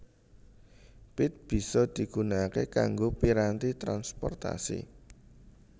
Pit bisa digunakake kanggo piranti transportasi